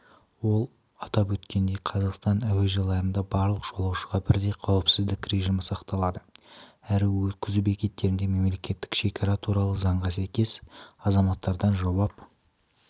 ол атап өткендей қазақстан әуежайларында барлық жолаушыға бірдей қауіпсіздік режимі сақталады әрі өткізу бекеттерінде мемлекеттік шекара туралы заңға сәйкес азаматтардан жауап